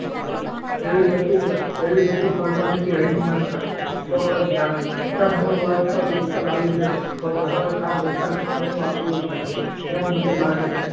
એ બધી ફોર્માલિટી ના કરો તો પણ ચાલશે. સીધા મૂળ વાત પર આવી જશો તો તમારું ગામ ઓછા સમયમાં પૂરું થશે. એમ મને લાગે છે.